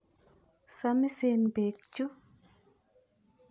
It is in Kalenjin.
Samisen peek chu?